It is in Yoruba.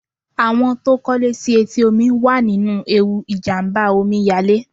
Àwọn tó kọ́ lé sí etí omi wà nínú ewu ìjàmbá Omi yalé.